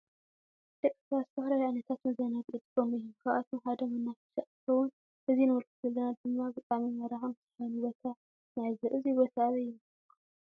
ድቂ ስባት ዝተፈላለዩ ዓይነታት መዘናጊዒ ይጥቀሙ እዩም። ካብአቶም ሓደ መናፈሻ እንትከውን እዚ ንምልከቶ ዘለና ድማ ብጣዕሚ ማራክን ሰሓብን ቦታ ንዕዘብ እዚ ቦታ አበይ ይመስለኩም?